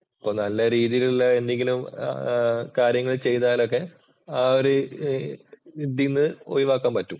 അപ്പൊ നല്ല രീതിയിലുള്ള എന്തെങ്കിലും കാര്യങ്ങൾ ചെയ്താലൊക്കെ ആ ഒരു ഇതീന്ന് ഒഴിവാക്കാൻ പറ്റും.